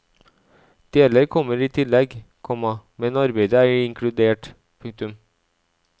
Deler kommer i tillegg, komma men arbeidet er inkludert. punktum